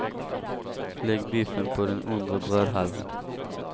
Lägg biffen på den undre brödhalvan.